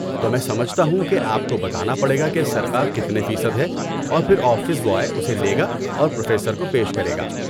تو، میں سمجھتا ہوں کہ آپ کو بتانا پڑے گا کہ سرقہ کتنے فیصد ہے، اور پھر آفس بوائے اسے لے گا اور پروفیسر کو پیش کرے گا۔